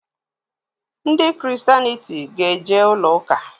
Ndị ‘christianity' ga-eje ụlọ ụka